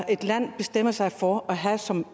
et land bestemmer sig for at have som